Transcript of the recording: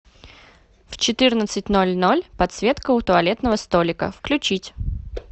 в четырнадцать ноль ноль подсветка у туалетного столика включить